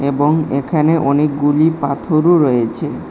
এবং এখানে অনেকগুলি পাথরও রয়েছে।